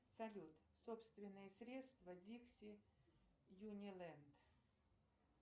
салют собственные средства дикси юниленд